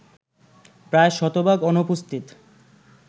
প্রায় শতভাগ অনুপস্থিত